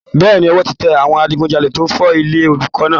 Bẹ́ẹ̀ni, ọwọ́ ti tẹ àwọn adigujalè tó fọ́ ilé olùkọ́ náà